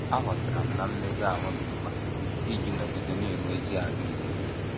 Aghọtara m na mmega ahụ dị mkpa iji nọgide na - enwe ezi ahụ ike.